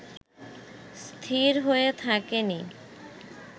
স্থির হয়ে থাকেনি